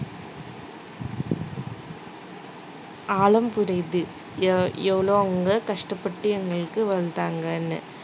ஆழம் புரியுது எவ்~ எவ்ளோ அவங்க கஷ்டப்பட்டு எங்களுக்கு வந்தாங்கன்னு